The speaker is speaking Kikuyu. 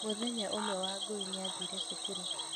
Mũthenya ũmwe Wangũi nĩ aathire cukuru.